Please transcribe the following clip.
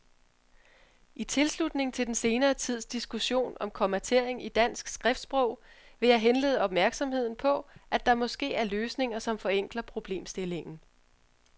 I tilslutning til den senere tids diskussion om kommatering i dansk skriftsprog vil jeg henlede opmærksomheden på, at der måske er løsninger, som forenkler problemstillingen.